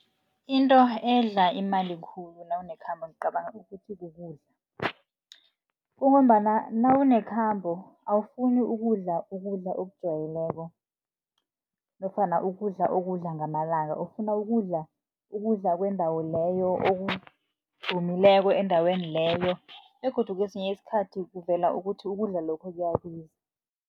Into edla imali khulu nawunekhambo ngicabanga ukuthi kukudla, kungombana nawunekhambo awufuni ukudla, ukudla okujayeleko nofana ukudla okudla ngamalanga. Ufuna ukudla ukudla kwendawo leyo okudumileko endaweni leyo begodu kesinye isikhathi, kuvela ukuthi ukudla lokho kuyabiza.